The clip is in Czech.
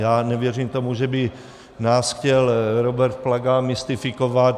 Já nevěřím tomu, že by nás chtěl Robert Plaga mystifikovat.